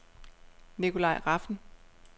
Nikolai Rafn